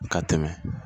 Ka tɛmɛ